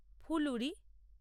ফুলুরি